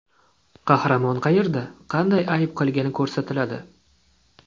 Qahramon qayerda, qanday ayb qilgani ko‘rsatiladi.